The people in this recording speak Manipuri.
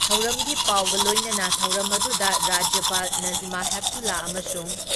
ꯊꯧꯔꯝꯒꯤ ꯄꯥꯎꯒ ꯂꯣꯏꯅꯅ ꯊꯧꯔꯝ ꯑꯗꯨꯗ ꯔꯥꯖ꯭ꯌꯄꯥꯜ ꯅꯥꯖꯃꯥ ꯍꯦꯞꯇꯨꯂꯥ ꯑꯃꯁꯨꯡ